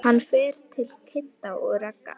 Hann fer til Kidda og Ragga.